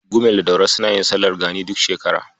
Gumel da Daura suna yin sallar gani duk shekara.